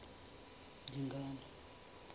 dingane